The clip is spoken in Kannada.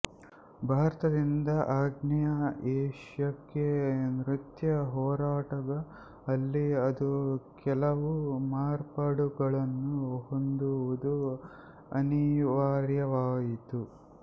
ಭಾರತದಿಂದ ಆಗ್ನೇಯ ಏಷ್ಯಕ್ಕೆ ನೃತ್ಯ ಹೊರಟಾಗ ಅಲ್ಲಿ ಅದು ಕೆಲವು ಮಾರ್ಪಾಡುಗಳನ್ನು ಹೊಂದುವುದು ಅನಿವಾರ್ಯವಾಯಿತು